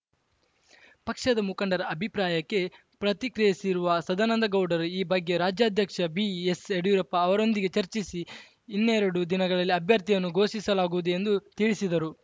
ಪಕ್ಷದ ಮುಖಂಡರ ಅಭಿಪ್ರಾಯಕ್ಕೆ ಪ್ರತಿಕ್ರಿಯಿಸಿರುವ ಸದಾನಂದಗೌಡರು ಈ ಬಗ್ಗೆ ರಾಜ್ಯಾಧ್ಯಕ್ಷ ಬಿಎಸ್‌ಯಡಿಯೂರಪ್ಪ ಅವರೊಂದಿಗೆ ಚರ್ಚಿಸಿ ಇನ್ನೆರಡು ದಿನಗಳಲ್ಲಿ ಅಭ್ಯರ್ಥಿಯನ್ನು ಘೋಷಿಸಲಾಗುವುದು ಎಂದು ತಿಳಿಸಿದರು